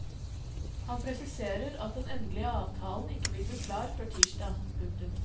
Han presiserer at den endelige avtalen ikke vil bli klar før tirsdag. punktum